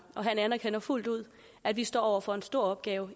og han anerkender fuldt ud at vi står over for en stor opgave